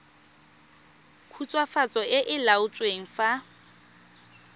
khutswafatso e e laotsweng fa